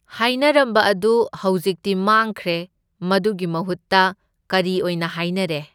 ꯍꯥꯏꯅꯔꯝꯕ ꯑꯗꯨ ꯍꯧꯖꯤꯛꯇꯤ ꯃꯥꯡꯈ꯭ꯔꯦ, ꯃꯗꯨꯒꯤ ꯃꯍꯨꯠꯇ ꯀꯔꯤ ꯑꯣꯏꯅ ꯍꯥꯏꯅꯔꯦ?